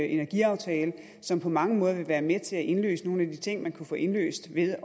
energiaftale som på mange måder vil være med til at indløse nogle af de ting man kan få indløst ved